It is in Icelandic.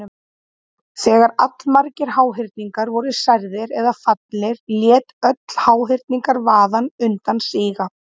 Þegar allmargir háhyrningar voru særðir eða fallnir lét öll háhyrningavaðan undan síga.